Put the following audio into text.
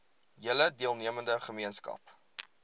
hele deelnemende gemeenskap